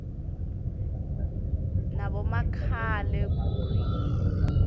nabomakhale khukhwini